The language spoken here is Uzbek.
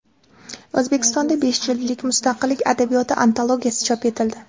O‘zbekistonda besh jildlik Mustaqillik adabiyoti antologiyasi chop etildi.